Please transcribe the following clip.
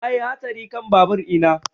Na yi hatsari kan babur ina